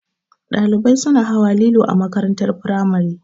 Ɗalibai suna hawa lilo a makarantar firamare